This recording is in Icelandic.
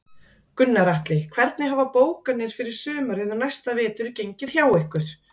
Gunnar Atli: Hvernig hafa bókanir fyrir sumarið og næsta vetur gengið hjá ykkur?